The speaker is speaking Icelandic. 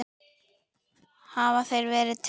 Hafa þeir verið teknir?